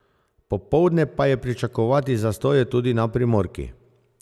Popoldne pa je pričakovati zastoje tudi na primorki.